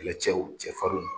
Kɛlɛcɛw cɛfarinw